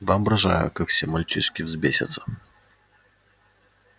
воображаю как все мальчишки взбесятся